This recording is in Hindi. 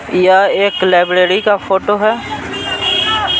यह एक लाइब्रेरी का फोटो है।